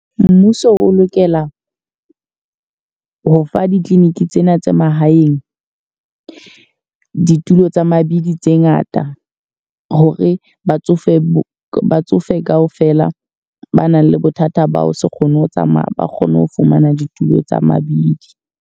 Mmuso o lokela ho fa di-clinic tsena tse mahaeng ditulo tsa mabidi tse ngata. Ho re batsofe batsofe ka ofela ba nang le bothata ba ho se kgone ho tsamaya, ba kgone ho fumana ditulo tsa mabidi.